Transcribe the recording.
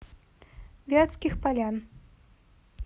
вятских полян